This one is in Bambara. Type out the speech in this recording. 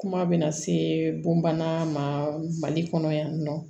Kuma bɛ na se bon bana mali kɔnɔ yan nɔ